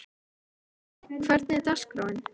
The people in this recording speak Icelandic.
Guðbjarni, hvernig er dagskráin?